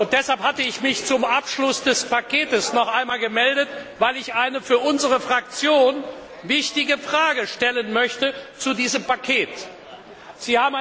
Deshalb hatte ich mich zum Abschluss des Pakets noch einmal gemeldet, weil ich eine für unsere Fraktion wichtige Frage zu diesem Paket stellen möchte.